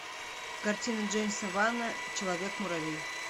картина джеймса вана человек муравей